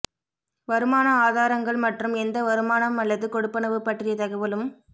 வருமான ஆதாரங்கள் மற்றும் எந்த வருமானம் அல்லது கொடுப்பனவு பற்றிய தகவலும்